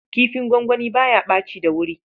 Kifin gwangwani ba ya ɓaci da wuri.